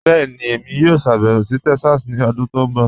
Bẹẹni, èmi yóò ṣàbẹwò sí Texas ni ọ̀dún tó nbọ̀.